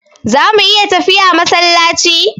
Zamu iya tafiya masallaci?